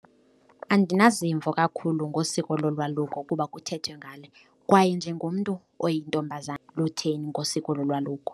Andinazimvo kakhulu ngosiko lolwaluko kuba kuthethwe ngale kwaye njengomntu oyintombazana lutheni ngosiko lolwaluko.